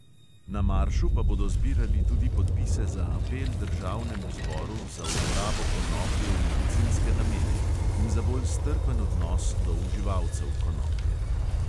Na maršu pa bodo zbirali tudi podpise za apel državnemu zboru za uporabo konoplje v medicinske namene in za bolj strpen odnos do uživalcev konoplje.